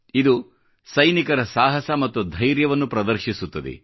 ಇದು ಸೈನಿಕರ ಸಾಹಸ ಮತ್ತು ಧೈರ್ಯವನ್ನು ಪ್ರದರ್ಶೀಸುತ್ತದೆ